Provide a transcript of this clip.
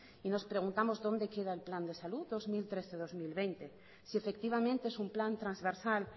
y nos preguntamos dónde queda el plan de salud dos mil trece dos mil veinte si efectivamente es un plan transversal